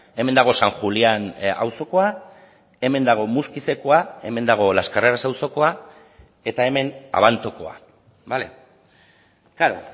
hemen dago san julián auzokoa hemen dago muskizekoa hemen dago las carreras auzokoa eta hemen abantokoa bale klaro